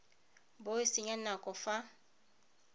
bo o senya nako fa